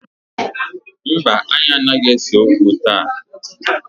Mba, anyị anaghị ese okwu taa